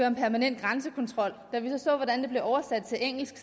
en permanent grænsekontrol da vi så hvordan det blev oversat til engelsk